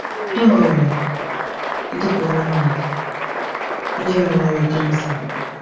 E nwere, dịka ọmụmaatụ, ndị ọrịa nwere kansa.